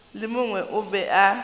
le mongwe o be a